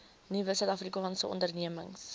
nuwe suidafrikaanse ondernemings